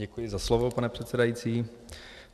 Děkuji za slovo, pane předsedající.